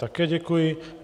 Také děkuji.